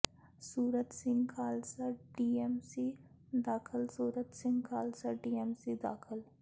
ਸੂਰਤ Singh Khalsa DMC ਦਾਖ਼ਲ Surat Singh Khalsa DMC ਦਾਖ਼ਲ